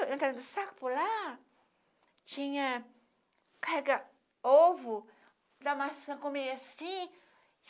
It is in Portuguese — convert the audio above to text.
Entrava no saco pular, tinha... Carregava ovo da maçã, comia assim.